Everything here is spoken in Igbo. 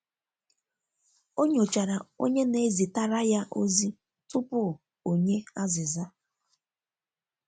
o nyochara onye na ezitara ya ozi tụpụ onye aziza.